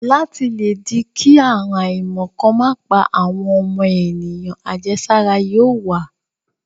Láti le dí kí àrùn àìmọ̀ kan má pa àwọn ọmọ ènìyàn, àjẹsára yóò wà.